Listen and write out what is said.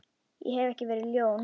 Ég hef ekki verið ljón.